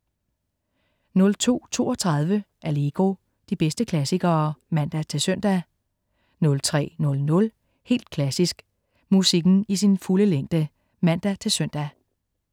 02.32 Allegro. De bedste klassikere (man-søn) 03.00 Helt Klassisk. Musikken i sin fulde længde (man-søn)